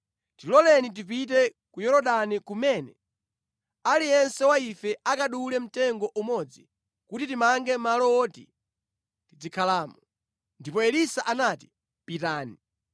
Tiloleni tipite ku Yorodani kumene aliyense wa ife akadule mtengo umodzi, kuti timange malo woti tizikhalamo.” Ndipo Elisa anati, “Pitani.”